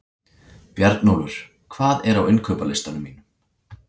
Bjarnólfur, hvað er á innkaupalistanum mínum?